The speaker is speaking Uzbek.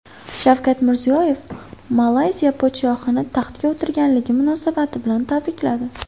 Shavkat Mirziyoyev Malayziya podshohini taxtga o‘tirganligi munosabati bilan tabrikladi.